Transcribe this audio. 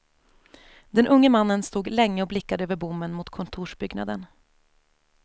Den unge mannen stod länge och blickade över bommen mot kontorsbyggnaden.